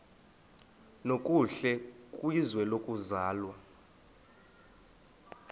nokuhle kwizwe lokuzalwa